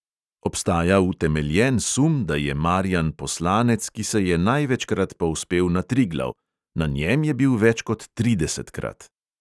Obstaja utemeljen sum, da je marijan poslanec, ki se je največkrat povzpel na triglav – na njem je bil več kot tridesetkrat.